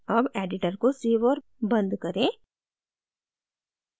अब editor को save और बंद करें